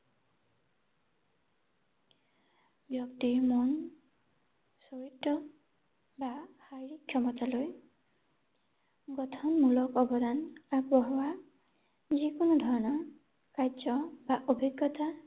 ব্যক্তিৰ মন, চৰিত্ৰ বা শাৰীৰিক ক্ষমতালৈ গঠনমূলক অৱদান আগবঢ়োৱা, যিকোনো ধৰণৰ কাৰ্য বা অভিজ্ঞতা